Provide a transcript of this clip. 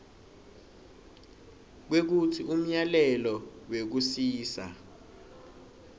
kwekutsi umyalelo wekusisa